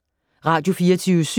Radio24syv